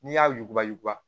N'i y'a yuguba yuguba